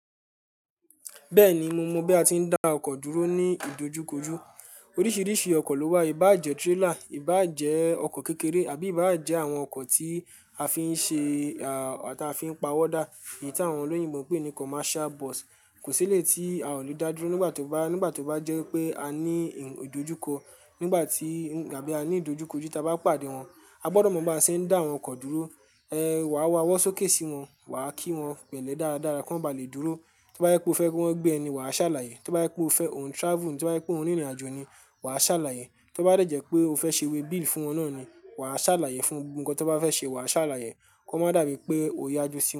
Bẹ́ẹ̀ni, mo mọ bí a ti ń dá ọkọ̀ dúró ní ìdojúkójú. Oríṣiríṣi ọkọ̀ ló wà, ìbá ń jẹ́ trailer, ìbá ń jẹ́ ọkọ̀ kékeré àbí ìbá ń jẹ́ àwọn ọkọ̀ tí a fi ń ṣe aà táa fi ń pa owó dá, èyí tí àwọn olóyinbo pè ní commercial bus. Kò sílé tí a ò le dá dúró nígbà tó bá, nígbà tó bá jẹ́ pé a ní ìdojúkọ nígbà tí àbí a ní ìdojúkójú tí a bá pàdé wọn. A gbọdọ̀ mọ bí a ṣe ń dá àwọn ọkọ̀ dúró, eh, wàá wá wọ́n sókè sí wọn, wàá kí wọ́n pẹ̀lẹ́ dáradára kí wọ́n ba lè dúró. Tó bá yẹ pé o fẹ́ kí wọ́n gbé ẹni, wàá ṣàlàyé. Tó bá yẹ pé o ń fẹ́ òun travel, tó bá yẹ pé òun rìnrìnàjò ni, wà á ṣàlàyé. Tó bá dẹ̀jẹ́ pé o fẹ́ ṣe waybill fún wọn nà ni, wà á ṣàlàyé. Fún ohun kan tó bá fẹ́ ṣe, wà á ṣàlàyé kó má dàbí pé o yájú sí wọn.